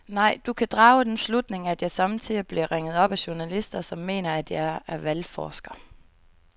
Nej, du kan drage den slutning, at jeg sommetider bliver ringet op af journalister, som mener, at jeg er valgforsker.